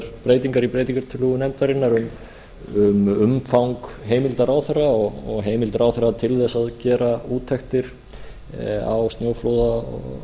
breytingar í breytingartillögu nefndarinnar um umfang heimildar ráðherra og heimildar ráðherra til þess að gera úttektir á